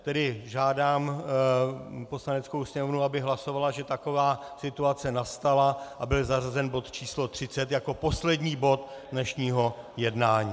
Tedy žádám Poslaneckou sněmovnu, aby hlasovala, že taková situace nastala, a byl zařazen bod číslo 30 jako poslední bod dnešního jednání.